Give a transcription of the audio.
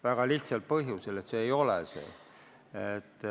Väga lihtsal põhjusel: see ei ole seda.